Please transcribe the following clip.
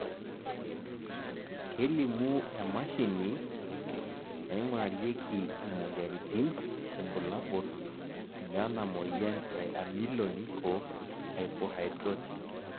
kelimu emashini naingurarieki imoyiaritin irbulabol lena moyian e Ameloonychohypohidrotic